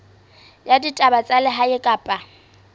ya ditaba tsa lehae kapa